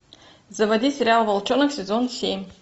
заводи сериал волчонок сезон семь